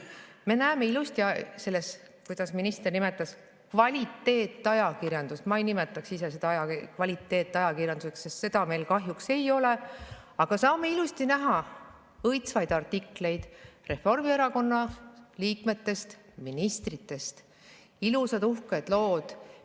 Me näeme ilusti selles, nagu minister seda nimetas, kvaliteetajakirjanduses – mina ei nimetaks seda kvaliteetajakirjanduseks, seda meil kahjuks ei ole – õitsvaid artikleid Reformierakonna liikmetest ja ministritest, ilusad uhked lood.